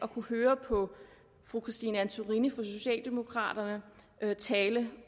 høre fru christine antorini fra socialdemokraterne tale